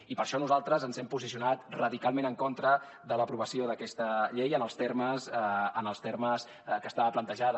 i per això nosaltres ens hem posicionat radicalment en contra de l’aprovació d’aquesta llei en els termes que estava plantejada